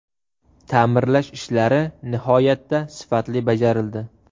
Ta’mirlash ishlari nihoyatda sifatli bajarildi.